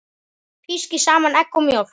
Pískið saman egg og mjólk.